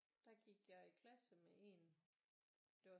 Der gik jeg i klasse med en det var